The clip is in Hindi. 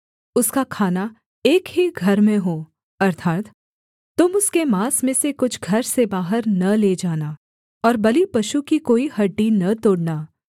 उसका खाना एक ही घर में हो अर्थात् तुम उसके माँस में से कुछ घर से बाहर न ले जाना और बलिपशु की कोई हड्डी न तोड़ना